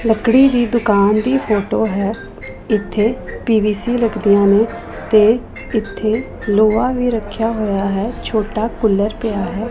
ਲੱਕੜੀ ਦੀ ਦੁਕਾਨ ਦੀ ਫੋਟੋ ਹੈ ਇੱਥੇ ਪੀ_ਵੀ_ਸੀ ਲੱਗ ਦੀਆਂ ਨੇਂ ਤੇ ਇੱਥੇ ਲੋਹਾ ਵੀ ਰੱਖਿਆ ਹੋਇਆ ਹੈ ਛੋਟਾ ਕੂਲਰ ਪਿਆ ਹੈ।